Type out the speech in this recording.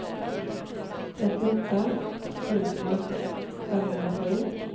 trettioåtta tusen femhundrasju